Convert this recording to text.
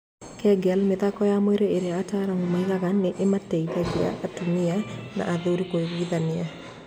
Kegel: Mĩthako ya mwĩrĩ ĩrĩa ataaramu moigaga nĩ ĩmateithagia atumia na athuri kũiguithania.